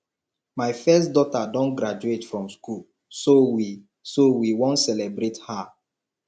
my first daughter don graduate from school so we so we wan celebrate her